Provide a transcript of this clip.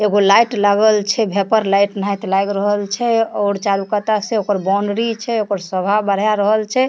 एगो लाइट लागल छै वेपर लाइट और चारू कता से ओकर बाउंड्री छै ओकर शोभा बढ़ा रहल छै।